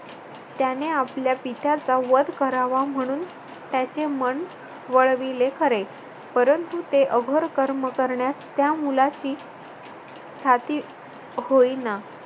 त्याने आपल्या पित्याचा वध करावा म्हणून त्याचे मन वळविले खरे, परंतु ते अघोर कर्म करण्यास त्या मुलाची छाती होईना.